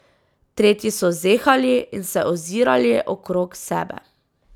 Tretji so zehali in se ozirali okrog sebe.